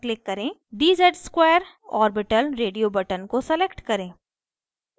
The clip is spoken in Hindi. dz ^ 2 orbital radio button को select करें